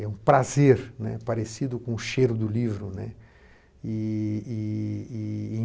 É um prazer, né, parecido com o cheiro do livro. E e e